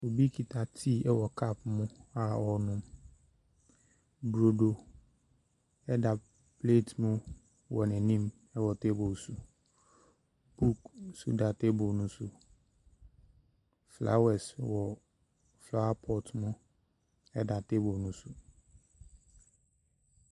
Obi kita tea wɔ cup mu a ɔrenom. Burodo da plate mu wɔ n'anim wɔ table so. Book nso da table no so. Flowers wɔ flower pot mu da table no so.